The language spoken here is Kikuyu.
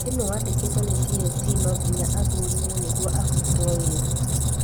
Mwarimũ wandĩkĩtwo ni TSC nonginya athũrimwo nĩguo abutwo wĩra